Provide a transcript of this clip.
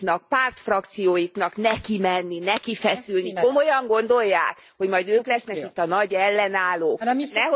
J'attire votre attention, mes chers collègues, sur le fait que nous devons terminer à 13 h 30 et qu'il y a encore beaucoup d'explications de vote à formuler.